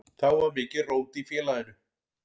Þá var mikið rót í félaginu.